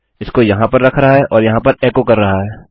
इसको यहाँ पर रख रहा है और यहाँ पर एकोecho कर रहा है